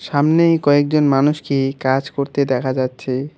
সামনেই কয়েকজন মানুষকে কাজ করতে দেখা যাচ্ছে।